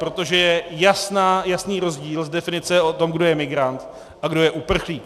Protože je jasný rozdíl z definice o tom, kdo je migrant a kdo je uprchlík.